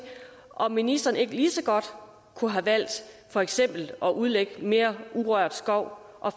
om ministeren ikke lige så godt kunne have valgt for eksempel at udlægge mere urørt skov og